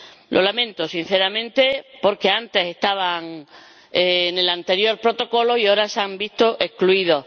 Lo lamento sinceramente, porque estaban en el anterior Protocolo y ahora se han visto excluidos.